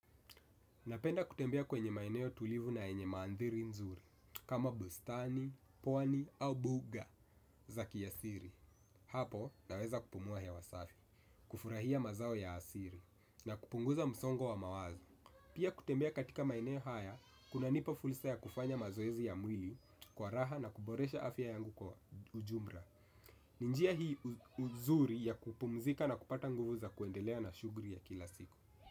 Napenda kutembea kwenye maeneo tulivu na yenye maandhiri nzuri, kama bustani, pwani au mbuga za kiasili. Hapo, naweza kupumua hewa safi, kufurahia mazao ya asili, na kupunguza msongo wa mawazo. Pia kutembea katika maeneo haya kuna nipa fursa ya kufanya mazoezi ya mwili kwa raha na kuboresha afya yangu kwa ujumla. Ni njia hii uzuri ya kupumzika na kupata nguvu za kuendelea na shughi ya kila siku.